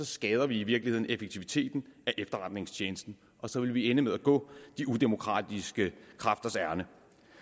skader vi i virkeligheden effektiviteten af efterretningstjenesten og så vil vi ende med at gå de udemokratiske kræfters ærinde